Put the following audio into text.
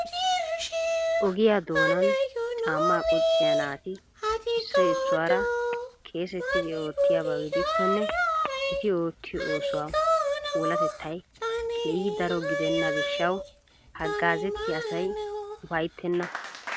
ogiyaa doonan caamma qucciya naati issoy issuwaara keesetidi oottiyaaba gidikkonne eti oottiyo oosuwaa puulatettay keehi daro gidena gishshaw haggazzettiya asay upayttenna.